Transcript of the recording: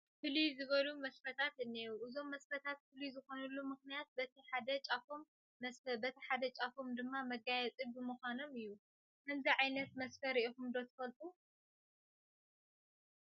ፍልይ ዝበሉ መስፈታት እኔዉ፡፡ እዞም መስፈታት ፍሉይ ዝኾኑሉ ምኽንያት በቲ ሓደ ጫፎም መስፈ በቲ ሓደ ጫፎም ድማ መጋየፂ ብምዃኖም እዩ፡፡ ከምዚ ዓይነት መስፈ ርኢኹም ዶ ትፈልጡ?